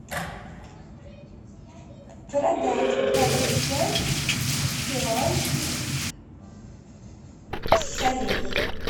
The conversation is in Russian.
продать двадцать пять перуанских солей